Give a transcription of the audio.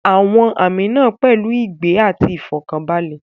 Àwọn àmì náà pẹ̀lú ìgbẹ́ àti ìfọ̀kànbalẹ̀.